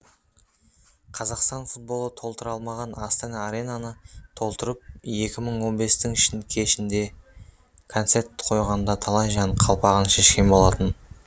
қазақстан футболы толтыра алмаған астана аренаны толтырып екі мың он бестің кешінде концерт қойғанда талай жан қалпағын шешкен болатын